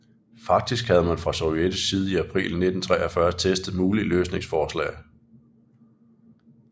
Faktisk havde man fra sovjetisk side i april 1943 testet mulige løsningsforslag